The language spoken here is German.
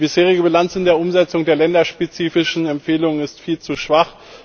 Die bisherige Bilanz bei der Umsetzung der länderspezifischen Empfehlungen ist viel zu schwach.